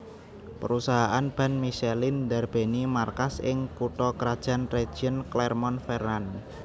Perusahaan ban Michelin ndarbèni markas ing kutha krajan région Clermont Ferrand